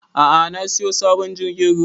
A'a na siyo sabon jirgin ruwa